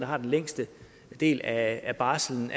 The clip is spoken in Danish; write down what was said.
har den længste del af barslen